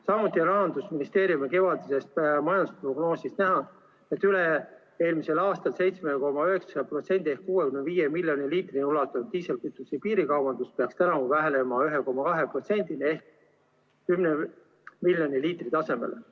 Samuti on Rahandusministeeriumi kevadisest majandusprognoosist näha, et üle-eelmisel aastal 7,9% moodustanud ja 65 miljoni liitrini ulatunud diislikütuse piirikaubandus peaks tänavu vähenema 1,2%-ni ehk 10 miljoni liitri tasemele.